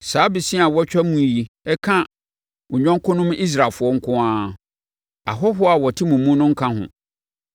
Saa bosea a wɔtwa mu yi ka mo yɔnkonom Israelfoɔ nko ara. Ahɔhoɔ a wɔte mo mu no nka ho.